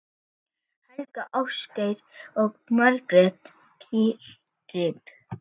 Helga, Ásgeir og Margrét Katrín.